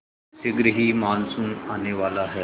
शीघ्र ही मानसून आने वाला है